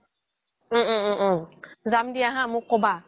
উম উম উম উম যাম দিয়া হা মোক কবা